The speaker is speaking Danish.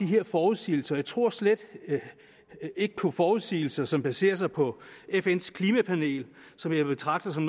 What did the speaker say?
her forudsigelser jeg tror slet ikke på forudsigelser som baserer sig på fns klimapanel som jeg betragter som